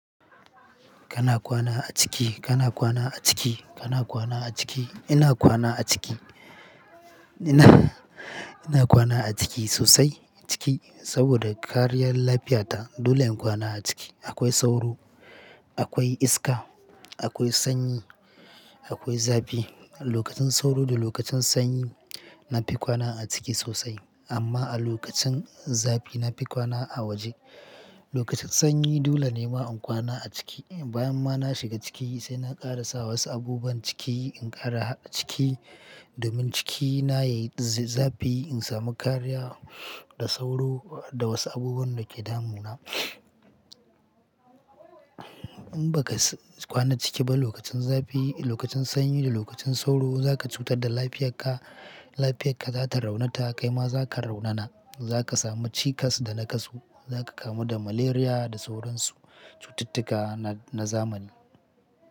Kana kwana a ciki, kana kwana a ciki, kana kwana a ciki. Ina kwana a ciki, ina kwana a ciki sosai ciki saboda kariyar lafiyata. Dole in kwana a ciki. Akwai sauro, akwai iska, akwai sanyi, akwai zafi. Lokacin sauro da lokacin sanyi na fi kwana a ciki sosai amma a lokacin zafi na fi kwana a waje. Lokacin sanyi dole ne ma in kwana a ciki. Bayan ma na shiga ciki sai na ƙara sa wasu abubuwan ciki in ƙara ciki domin cikina yayi zafi, in samu kariya da sauro da wasu abubuwan da ke damuna. In baka kwana ciki ba lokacin zafi, lokacin sanyi da lokacin sauro za ka cutar da lafiyarka. Lafiyarka za ta raunata, kai ma za ka raunana. Za ka samu cikas da naƙasu, za ka kamu da malaria da sauransu cututtuka na zamani.